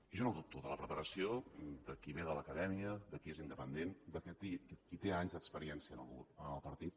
jo no dubto de la preparació de qui ve de l’acadèmia de qui és independent de qui té anys d’experiència en el partit